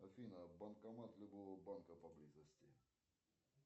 афина банкомат любого банка поблизости